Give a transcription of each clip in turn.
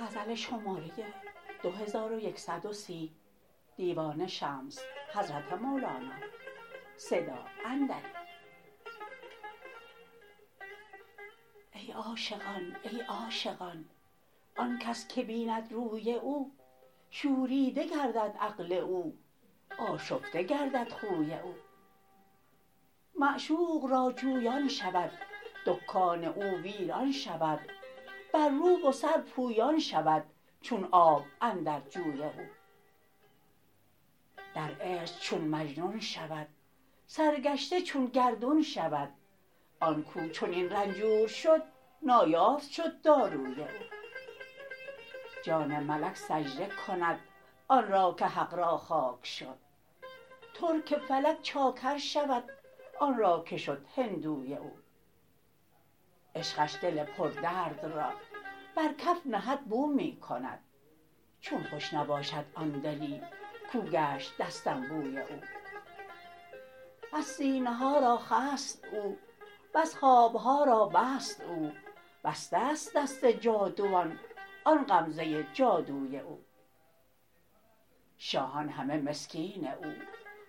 ای عاشقان ای عاشقان آن کس که بیند روی او شوریده گردد عقل او آشفته گردد خوی او معشوق را جویان شود دکان او ویران شود بر رو و سر پویان شود چون آب اندر جوی او در عشق چون مجنون شود سرگشته چون گردون شود آن کو چنین رنجور شد نایافت شد داروی او جان ملک سجده کند آن را که حق را خاک شد ترک فلک چاکر شود آن را که شد هندوی او عشقش دل پردرد را بر کف نهد بو می کند چون خوش نباشد آن دلی کو گشت دستنبوی او بس سینه ها را خست او بس خواب ها را بست او بسته ست دست جادوان آن غمزه جادوی او شاهان همه مسکین او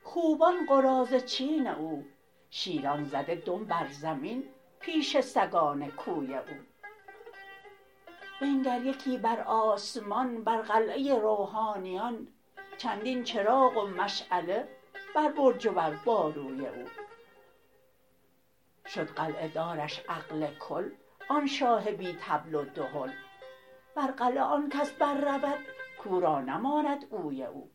خوبان قراضه چین او شیران زده دم بر زمین پیش سگان کوی او بنگر یکی بر آسمان بر قلعه روحانیان چندین چراغ و مشعله بر برج و بر باروی او شد قلعه دارش عقل کل آن شاه بی طبل و دهل بر قلعه آن کس بررود کو را نماند اوی او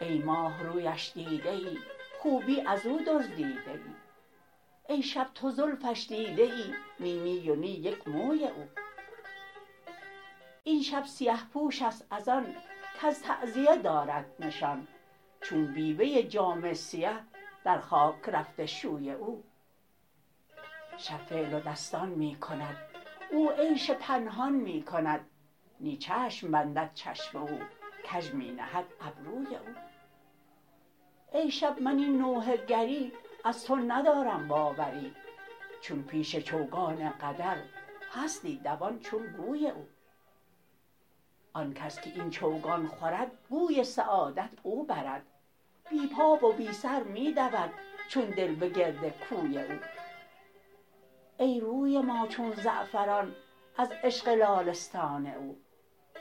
ای ماه رویش دیده ای خوبی از او دزدیده ای ای شب تو زلفش دیده ای نی نی و نی یک موی او این شب سیه پوش است از آن کز تعزیه دارد نشان چون بیوه ای جامه سیه در خاک رفته شوی او شب فعل و دستان می کند او عیش پنهان می کند نی چشم بندد چشم او کژ می نهد ابروی او ای شب من این نوحه گری از تو ندارم باوری چون پیش چوگان قدر هستی دوان چون گوی او آن کس که این چوگان خورد گوی سعادت او برد بی پا و بی سر می دود چون دل به گرد کوی او ای روی ما چون زعفران از عشق لاله ستان او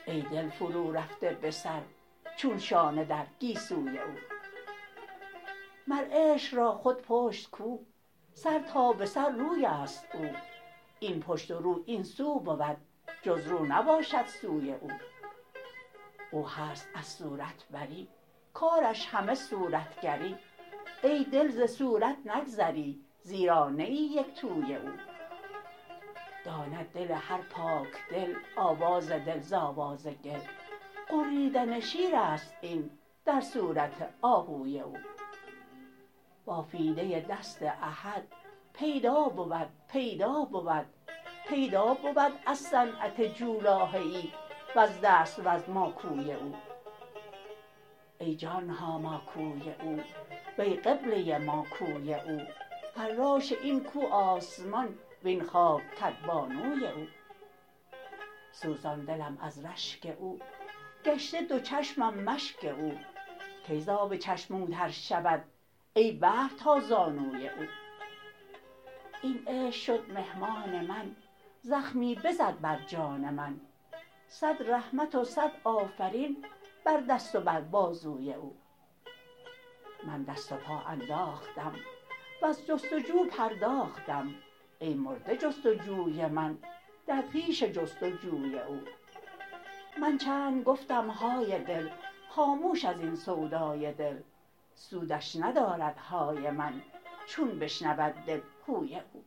ای دل فرورفته به سر چون شانه در گیسوی او مر عشق را خود پشت کو سر تا به سر روی است او این پشت و رو این سو بود جز رو نباشد سوی او او هست از صورت بری کارش همه صورتگری ای دل ز صورت نگذری زیرا نه ای یک توی او داند دل هر پاک دل آواز دل ز آواز گل غریدن شیر است این در صورت آهوی او بافیده دست احد پیدا بود پیدا بود از صنعت جولاهه ای وز دست وز ماکوی او ای جان ما ماکوی او وی قبله ما کوی او فراش این کو آسمان وین خاک کدبانوی او سوزان دلم از رشک او گشته دو چشمم مشک او کی ز آب چشم او تر شود ای بحر تا زانوی او این عشق شد مهمان من زخمی بزد بر جان من صد رحمت و صد آفرین بر دست و بر بازوی او من دست و پا انداختم وز جست و جو پرداختم ای مرده جست و جوی من در پیش جست و جوی او من چند گفتم های دل خاموش از این سودای دل سودش ندارد های من چون بشنود دل هوی او